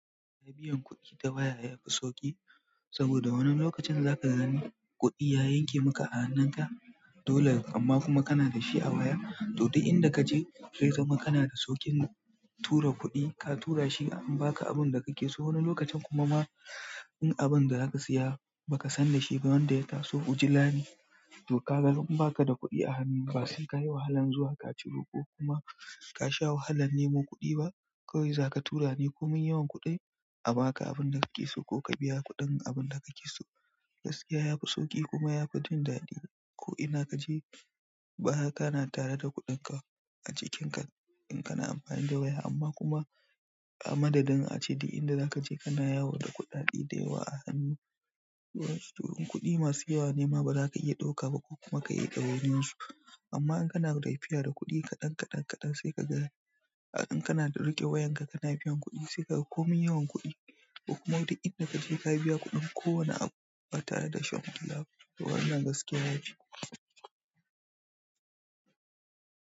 Na biyan kuɗi ta waya yafi sauƙi saboda wani lokacin zaka gani kuɗi ya yanke maka a hannunka dole amma kuma kana da shi a waya, to duk inda kaje zai zama kana da sauƙin tura kuɗi ka tura shi an baka abun da kake so. Wani lokacin kuma ma in abun da zaka siya baka san da shi ba wanda ya taso ujila ne, to ka ga in baka da kuɗi a hannu ba sai kayi wahalan zuwa kaci roko kuma ka sha wahalan nemo kuɗi ba kawai zaka tura ne komin yawan kuɗi a baka abun da kake so ko ka biya kuɗin abun da kake so. Gaskiya yafi sauƙi kuma yafi jin daɗi ko ina kaje ba hakana tare da kuɗinka a jikinka in kana amfani da waya amma kuma a madadin ace duk inda zaka je kana yawo da kuɗaɗe da yawa a hannu. To in kuɗi masu yawa nema baza ka iya ɗauka ba ko kuma ka iya ɗawainiyan su amma in kana laifiya da kuɗi kaɗan kaɗan kaɗan sai ka ga in kana da riƙe wayanka kana biyan kuɗi sai kaga komin yawan kuɗi ko kuma duk inda kaje ka biya kuɗin ko wane abu ba tare da shan kulawa ba. To wannan gaskiya ya fi.